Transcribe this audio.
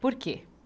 Por quê?